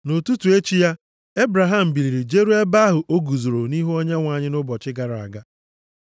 Nʼụtụtụ echi ya, Ebraham biliri jeruo ebe ahụ o guzoro nʼihu Onyenwe anyị nʼụbọchị gara aga.